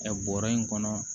Ɛ bɔrɛ in kɔnɔ